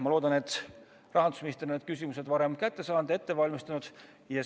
Ma loodan, et rahandusminister on need küsimused varem kätte saanud ja ette valmistanud.